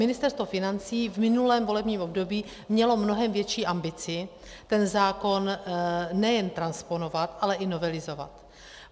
Ministerstvo financí v minulém volebním období mělo mnohem větší ambici ten zákon nejen transponovat, ale i novelizovat.